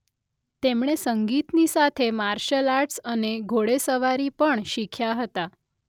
તેમણે સંગીતની સાથે માર્શલ આર્ટસ અને ઘોડેસવારી પણ શીખ્યા હતા.